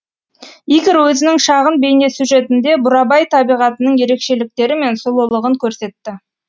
игорь өзінің шағын бейнесюжетінде бурабай табиғатының ерекшеліктері мен сұлулығын көрсетті